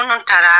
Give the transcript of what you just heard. Munnu taara